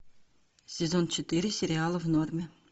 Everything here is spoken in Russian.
сезон четыре сериала в норме